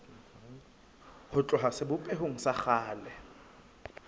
ho tloha sebopehong sa kgale